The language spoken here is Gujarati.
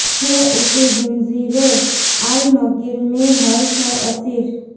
હૈ ઉસી ઝંઝીરે આલમગીર મેં હર શૌ અસીર